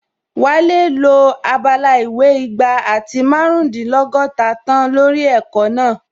Wálé lo abala ìwé igba àti márùndínlọ́gọ́ta tán lórí ẹ̀kọ́ náà